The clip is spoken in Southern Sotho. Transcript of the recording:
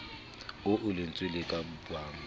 oo lentswe le ka bang